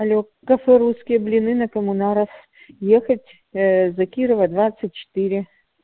а кафе русские блины на коммунаров ехать э за кирова двадцать четыре